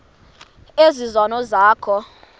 ezi zono zakho